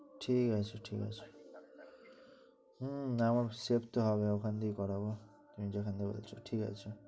ঠিক আছে ঠিক আছে আমার দেখতে হবে ওখান থেকে করাবে